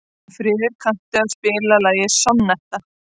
Steinfríður, kanntu að spila lagið „Sonnetta“?